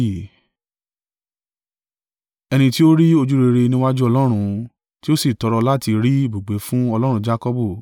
Ẹni tí ó rí ojúrere níwájú Ọlọ́run, tí ó sì tọrọ láti rí ibùgbé fún Ọlọ́run Jakọbu.